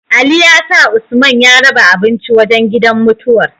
Ali ya sa usman ya raba abinci wajan gidan mutuwar